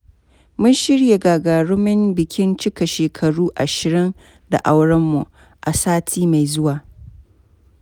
Mun shirya gagarumin bikin cika shekaru ashirin da aurenmu a sati mai zuwa.